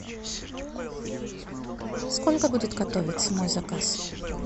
сколько будет готовиться мой заказ